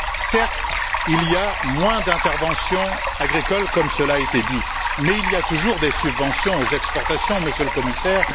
Certes, il y a moins d'interventions agricoles, comme cela a été dit, mais il y a toujours des subventions aux exportations, Monsieur le Commissaire.